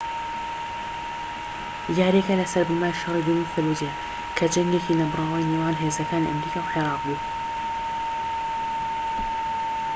یارییەکە لەسەر بنەمای شەڕی دووەمی فەلوجەیە کە جەنگێکی نەبڕاوی نێوان هێزەکانی ئەمریکا و عێراق بوو